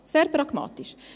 Sehr pragmatisch.